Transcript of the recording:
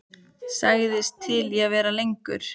Sagðist til í að vera lengur.